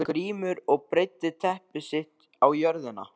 Grímur og breiddi teppi sitt á jörðina.